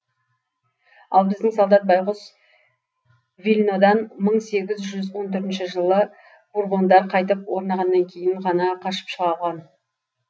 ал біздің солдат байғұс вильнодан мың сегіз жүз он төртінші жылы бурбондар қайтып орнағаннан кейін ғана қашып шыға алған